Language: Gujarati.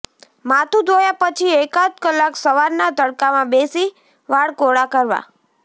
માથું ધોયા પછી એકાદ કલાક સવારના તડકામાં બેસી વાળ કોરા કરવા